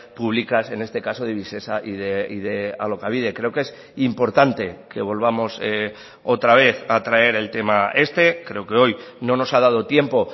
públicas en este caso de visesa y de alokabide creo que es importante que volvamos otra vez a traer el tema este creo que hoy no nos ha dado tiempo